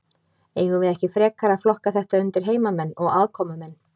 Eigum við ekki frekar að flokka þetta undir heimamenn og aðkomumenn?